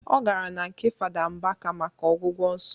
Ọ gara na nke fada Mbaka maka ọgwụgwọ nsọ